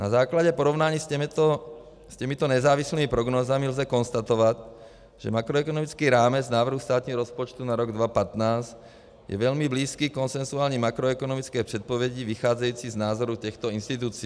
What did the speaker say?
Na základě porovnání s těmito nezávislými prognózami lze konstatovat, že makroekonomický rámec návrhu státního rozpočtu na rok 2015 je velmi blízký konsensuální makroekonomické předpovědi vycházející z názoru těchto institucí.